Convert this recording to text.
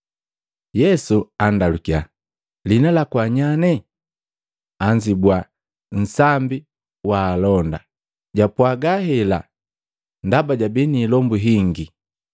Yesu andalukiya, “Lihina laku wa nyanye?” Anzibua, “Nsambi waalonda.” Japwaga hela ndaba jabii ni ilombu hingi.